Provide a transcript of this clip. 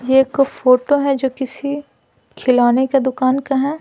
ये एक फोटो है जो किसी खिलाने का दुकान का है।